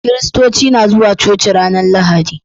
Kiristoci na zuwa coci ranar Lahadi.